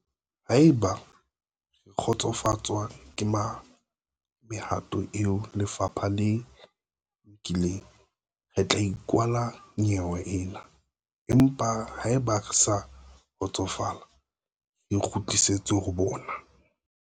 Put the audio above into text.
"Haeba re kgotsofatswa ke mehato eo lefapha le e nkileng, re tla e kwala nyewe ena, empa haeba re sa kgotsofala, re kgutlela ho bona."